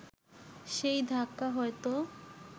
সেই ধাক্কা হয়তো